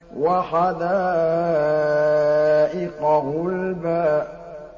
وَحَدَائِقَ غُلْبًا